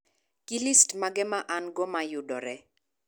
gi list mage ma an go mayudore